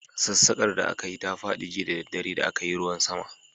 Sassaƙar da aka yi ta fadi jiya da daddare da a kayi ruwan sama.